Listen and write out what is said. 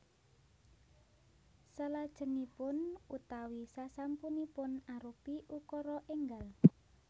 Salajengipun utawi sasampunipun arupi ukara énggal